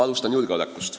Alustan julgeolekust.